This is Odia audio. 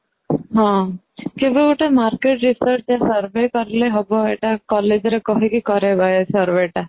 ହଁ କିନ୍ତୁ ଗତେ ମାର୍କେଟ require ଯାହା survey କଲେ ହବ ଏଇଟା collegeରେ କହିକି କରେଇବା ଏଇ survey ଟା